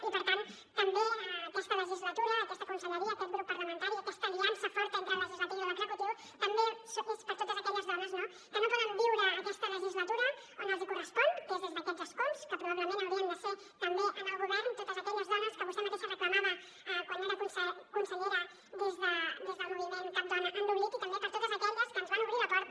i per tant també aquesta legislatura aquesta conselleria aquest grup parlamentari aquesta aliança forta entre el legislatiu i l’executiu també és per totes aquelles dones no que no poden viure aquesta legislatura on els correspon que és des d’aquests escons que probablement haurien de ser també en el govern totes aquelles dones que vostè mateixa reclamava quan era consellera des del moviment cap dona en l’oblit i també per totes aquelles que ens van obrir la porta